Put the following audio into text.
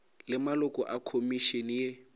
le maloko a khomišene ye